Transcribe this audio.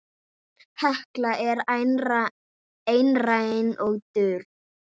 Hekla er einræn og dul.